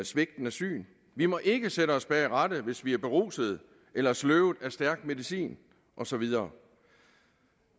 svigtende syn vi må ikke sætte os bag rattet hvis vi er berusede eller sløvede af stærk medicin og så videre